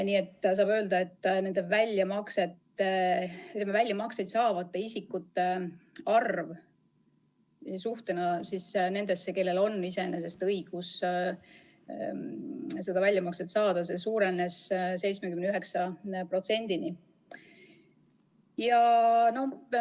Niisiis võib öelda, et väljamakset isikute arv suhtena kõigisse nendesse, kellel on õigus see väljamakse saada, suurenes 79%-ni.